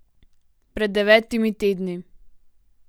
Pred devetimi tedni.